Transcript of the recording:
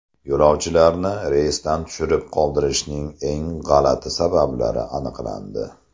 Yo‘lovchilarni reysdan tushirib qoldirishning eng g‘alati sabablari aniqlandi.